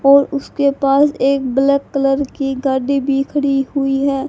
और उसके पास एक ब्लैक कलर की गाड़ी भी खड़ी हुई है।